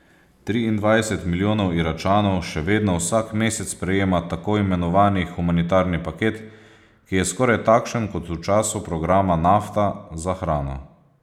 Triindvajset milijonov Iračanov še vedno vsak mesec prejema tako imenovani humanitarni paket, ki je skoraj takšen kot v času programa Nafta za hrano.